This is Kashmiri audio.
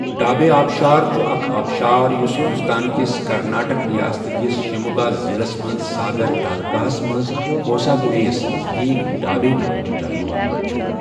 ڈابے آبشار چُھ اکھ آبشار یُس ہِنٛدوستان کِس کرناٹَک رِیاست کِس شیموگا ضِلعس منٛزساگر تالكاہس منٛز ہوساگڈےیَس نزدیٖک ڈابے ناو چہِ جایہ واقعہ چھ۔